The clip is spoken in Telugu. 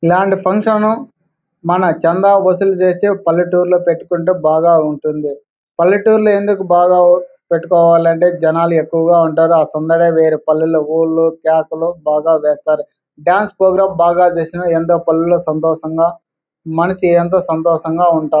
ఇల్లాంటి ఫంక్షన్ మన చందా వసూళ్లు చేసి పల్లెటూరులో పెట్టుకుంటే బాగా ఉంటుంది. పల్లెటూరులో ఎందుకు బాగా పెట్టుకోవాలంటే జనాలు ఎక్కువుగా ఉంటారు. ఆ సందర్భంలో పిల్లులు వేశాలు బాగా వేస్తారు. డాన్స్ ప్రోగ్రాం చేసి ఎంతో పనులు సంతోషంగా మనిషి ఎంతో సంతోషంగా ఉంటారు.